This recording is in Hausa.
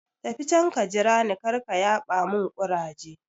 Tafi can ka jira ni, karka yaɓa mun ƙuraje